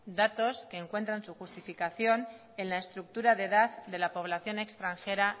datos que encuentran su justificación en la estructura de edad de la población extranjera